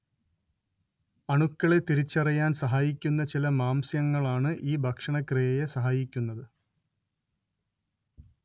അണുക്കളെ തിരിച്ചറിയാൻ സഹായിക്കുന്ന ചില മാംസ്യങ്ങളാണ് ഈ ഭക്ഷണക്രിയയെ സഹായിക്കുന്നത്